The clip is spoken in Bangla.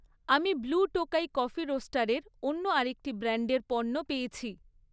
আমি ব্লু টোকাই কফি রোস্টারের অন্য আরেকটি ব্র্যান্ডের পণ্য পেয়েছি৷